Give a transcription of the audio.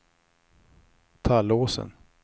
Tallåsen